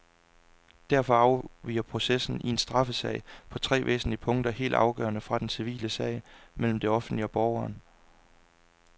Derfor afviger processen i en straffesag på tre væsentlige punkter helt afgørende fra den civile sag mellem det offentlige og borgeren.